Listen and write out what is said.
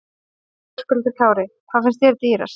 Höskuldur Kári: Hvað finnst þér dýrast?